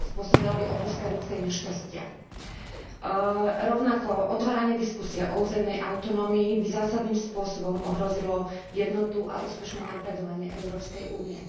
Spôsobila by obrovské ľudské nešťastia. Rovnako by otváranie diskusie o územnej autonómii zásadným spôsobom ohrozilo jednotu a úspešné napredovanie Európskej únie.